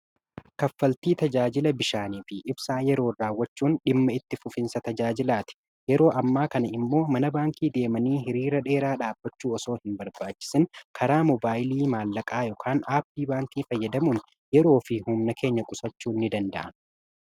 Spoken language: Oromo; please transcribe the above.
kaffaltii tajaajila bishaanii fi ibsaa yeroo raawwachuun dhimma itti fufinsa tajaajilaati yeroo ammaa kana immoo mana baankii deemanii hiriira dheeraa dhaabbachuu osoo hin barbaachisin karaa mobaayilii maallaqaa aappii baankii fayyadamuun yeroo fi humna keenya qusachuu ni danda'ama.